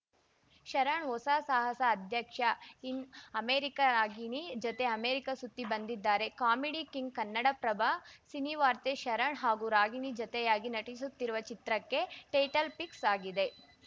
ಶರಣ್‌ ಹೊಸ ಸಾಹಸ ಅಧ್ಯಕ್ಷ ಇನ್‌ ಅಮೆರಿಕಾ ರಾಗಿಣಿ ಜತೆ ಅಮೆರಿಕಾ ಸುತ್ತಿ ಬಂದಿದ್ದಾರೆ ಕಾಮಿಡಿ ಕಿಂಗ್‌ ಕನ್ನಡಪ್ರಭ ಸಿನಿವಾರ್ತೆ ಶರಣ್‌ ಹಾಗೂ ರಾಗಿಣಿ ಜತೆಯಾಗಿ ನಟಿಸುತ್ತಿರುವ ಚಿತ್ರಕ್ಕೆ ಟೈಟಲ್‌ ಫಿಕ್ಸ್‌ ಆಗಿದೆ